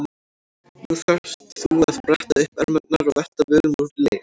Nú þarft þú að bretta upp ermarnar og velta völum úr leið.